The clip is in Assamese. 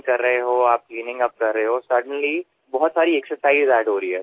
তেতিয়া দৌৰি থকাৰ লগতে অতিৰিক্ত আনবোৰ ব্যায়ামো ইয়াত সংযোজিত হয়